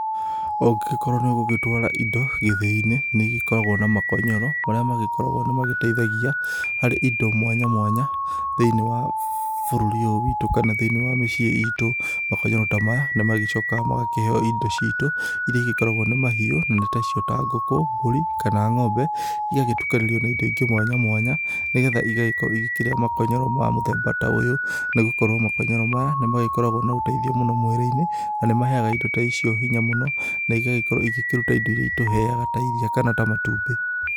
Ũngĩgĩkorwo nĩ ũgũgĩtwara indo gĩthĩ-inĩ nĩ ĩgĩkoragwo na makonyoro marĩa magĩkoragwo nĩ mateithagia harĩ indo mwanya mwanya thĩinĩ wa bũrũri ũyũ wĩtũ kana mĩciĩ itũ, makonyoro ta maya nĩ magĩcokaga magakĩheo indo citũ ĩria ĩgĩkoragwo nĩ mahiũ na nĩ tacio ta ngũkũ, mbũri kana ng'ombe igagĩtũkanĩrio na indo ingĩ mwanya mwanya nĩgetha igagĩkorwo ikĩria makonyoro ma mũthemba ta ũyũ nĩgũkorwo makonyoro maya nĩ makoragwo na ũteithio mwingĩ mwĩrĩ-inĩ na nĩ maheaga indo ta icio hinya mũno na igagĩkorwo igĩkĩrũta indo ĩrĩa ĩtũheaga ta iria kana ta matumbĩ.